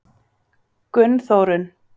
Gunnþórunn